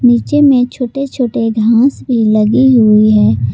नीचे में छोटे छोटे घास भी लगी हुई है।